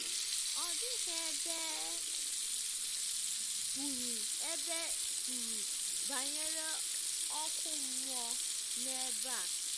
Ọ dịghị ebe e kwuru ebe e kwuru banyere ọkụ mmụọ n’ebe a.